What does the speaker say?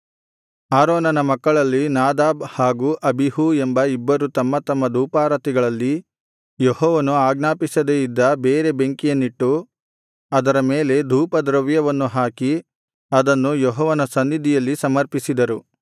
ಆರೋನನ ಮಕ್ಕಳಲ್ಲಿ ನಾದಾಬ್ ಹಾಗೂ ಅಬೀಹೂ ಎಂಬ ಇಬ್ಬರು ತಮ್ಮ ತಮ್ಮ ಧೂಪಾರತಿಗಳಲ್ಲಿ ಯೆಹೋವನು ಆಜ್ಞಾಪಿಸದೆ ಇದ್ದ ಬೇರೆ ಬೆಂಕಿಯನ್ನಿಟ್ಟು ಅದರ ಮೇಲೆ ಧೂಪದ್ರವ್ಯವನ್ನು ಹಾಕಿ ಅದನ್ನು ಯೆಹೋವನ ಸನ್ನಿಧಿಯಲ್ಲಿ ಸಮರ್ಪಿಸಿದರು